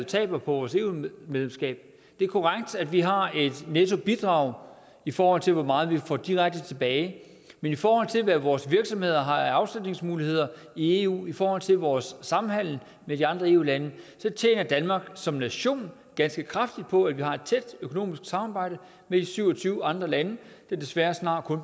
taber på vores eu medlemskab det er korrekt at vi har et nettobidrag i forhold til hvor meget vi får direkte tilbage men i forhold til hvad vores virksomheder har af afsætningsmuligheder i eu i forhold til vores samhandel med de andre eu lande tjener danmark som nation ganske kraftigt på at vi har et tæt økonomisk samarbejde med de syv og tyve andre lande der desværre snart